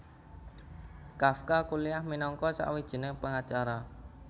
Kafka kuliah minangka sawijining pangacara